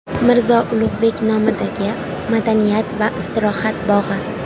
Mirzo Ulug‘bek nomidagi madaniyat va istirohat bog‘i.